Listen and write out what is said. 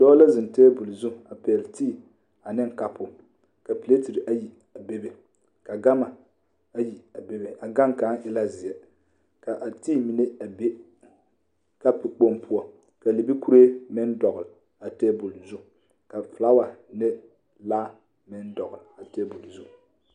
Dɔɔ la zeŋ tabol zu a pɛgle tii ane kapu ka piletiri ayi bebe ka gama ayi a bebe a gane kaŋ e la zeɛ k,a tii mine a be kapu kpoŋ poɔ ka libikuree meŋ dɔgle a tabol zu ka filawa ne laa meŋ dɔgle a tabol zu.